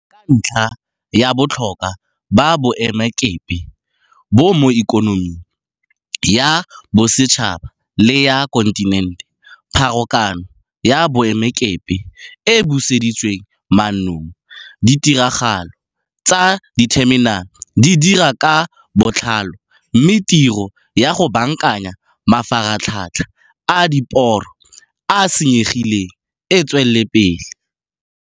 Ka ntlha ya botlhokwa ba boemakepe bo mo ikonoming ya bosetšhaba le ya kontinente, pharakano ya boemakepe e buseditswe mannong, ditiragalo tsa ditheminale di dira ka botlalo mme tiro ya go baakanya mafaratlhatlha a diporo a a senyegileng e tswelela pele.